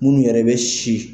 Minnu yɛrɛ bɛ si